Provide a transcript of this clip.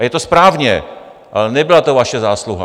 A je to správně, ale nebyla to vaše zásluha.